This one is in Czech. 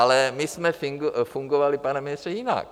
Ale my jsme fungovali, pane ministře, jinak.